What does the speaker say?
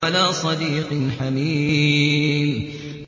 وَلَا صَدِيقٍ حَمِيمٍ